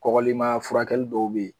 Kɔgɔlima furakɛli dɔw bɛ ye.